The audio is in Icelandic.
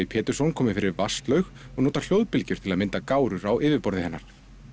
Pétursson komið fyrir og notar hljóðbylgjur til að mynda gárur á yfirborði hennar